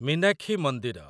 ମୀନାକ୍ଷୀ ମନ୍ଦିର